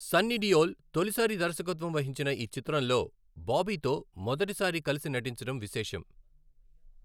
సన్నీ డియోల్ తొలిసారి దర్శకత్వం వహించిన ఈ చిత్రంలో బాబీతో మొదటి సారి కలిసి నటించడం విశేషం.